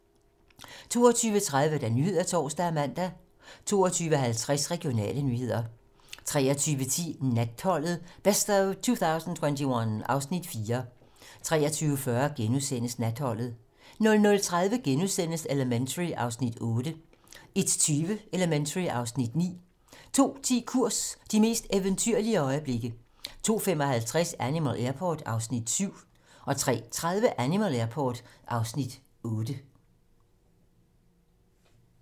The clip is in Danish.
22:30: Nyhederne (tor og man) 22:50: Regionale nyheder 23:10: Natholdet - best of 2021 (Afs. 4) 23:40: Natholdet * 00:30: Elementary (Afs. 8)* 01:20: Elementary (Afs. 9) 02:10: Kurs - de mest eventyrlige øjeblikke 02:55: Animal Airport (Afs. 7) 03:30: Animal Airport (Afs. 8)